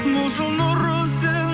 болшы нұры сен